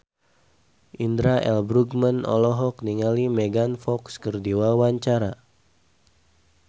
Indra L. Bruggman olohok ningali Megan Fox keur diwawancara